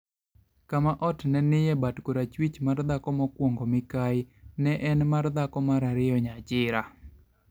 kama ot ma ne nie bat korachwich mar dhako mokwongo (Mikayi) ne en mar dhako mar ariyo (Nyachira),